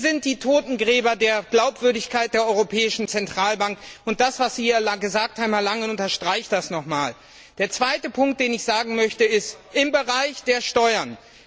Sie sind die Totengräber der Glaubwürdigkeit der Europäischen Zentralbank, und das, was Sie hier gesagt haben, Herr Langen, unterstreicht das noch einmal. Der zweite Punkt, den ich ansprechen möchte, betrifft den Bereich Steuern.